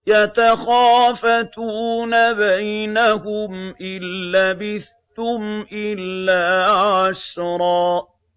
يَتَخَافَتُونَ بَيْنَهُمْ إِن لَّبِثْتُمْ إِلَّا عَشْرًا